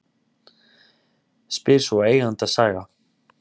Spyr svoEigandasaga